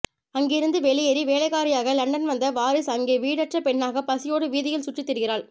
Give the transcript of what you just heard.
அங்கிருந்து வெளியேறி வேலைக்காரியாக லண்டன் வந்த வாரீஸ் அங்கே வீடற்ற பெண்ணாகப் பசியோடு வீதியில் சுற்றித் திரிகிறாள்